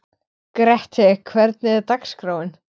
Grethe, hvernig er dagskráin?